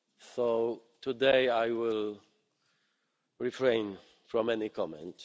So today I will refrain from making any comment.